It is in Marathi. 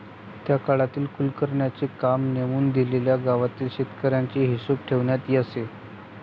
त्या काळातील कुलकर्ण्यांचे काम नेमून दिलेल्या गावातील शेतसाऱ्याचा हिशोब ठेवण्याचे असे.